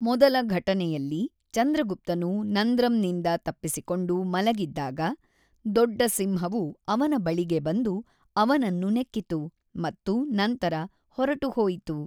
ಮೊದಲ ಘಟನೆಯಲ್ಲಿ, ಚಂದ್ರಗುಪ್ತನು ನಂದ್ರಂನಿಂದ ತಪ್ಪಿಸಿಕೊಂಡು ಮಲಗಿದ್ದಾಗ, ದೊಡ್ಡ ಸಿಂಹವು ಅವನ ಬಳಿಗೆ ಬಂದು, ಅವನನ್ನು ನೆಕ್ಕಿತು ಮತ್ತು ನಂತರ ಹೊರಟುಹೋಯಿತು.